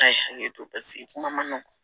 K'a ye hakili to paseke kuma ma nɔgɔn